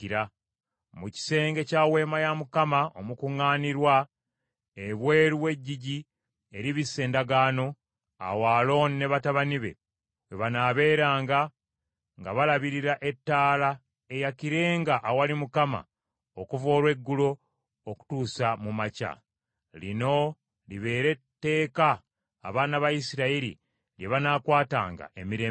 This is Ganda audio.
Mu kisenge kya Weema ey’Okukuŋŋaanirangamu, ebweru w’eggigi eribisse Endagaano, awo Alooni ne batabani be we banaabeeranga nga balabirira ettaala eyakirenga awali Mukama okuva olweggulo okutuusa mu makya. Lino libeere tteeka abaana ba Isirayiri lye banaakwatanga emirembe gyonna.”